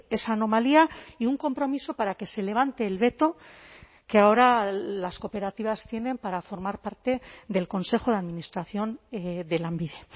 esa anomalía y un compromiso para que se levante el veto que ahora las cooperativas tienen para formar parte del consejo de administración de lanbide